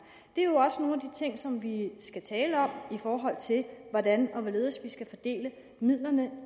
det er jo også nogle af de ting som vi skal tale om i forhold til hvordan og hvorledes vi skal fordele midlerne